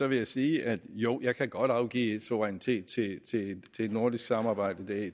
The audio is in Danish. vil jeg sige jo jeg kan godt afgive suverænitet til et nordisk samarbejde det